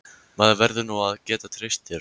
Maður verður nú að geta treyst þér!